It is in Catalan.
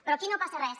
però aquí no passa res